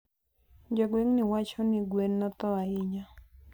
jogwengni wachoni gwen nothoo sana